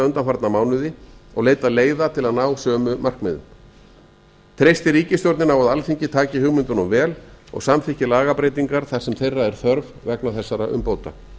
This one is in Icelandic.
undanfarna mánuði og leitað leiða til að ná sömu markmiðum treystir ríkisstjórnin á að alþingi taki hugmyndunum vel og samþykki lagabreytingar þar sem þeirra er þörf vegna þessara umbóta